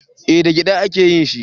Eh da gyada a ke yin shi